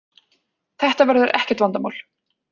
Þetta verður ekkert vandamál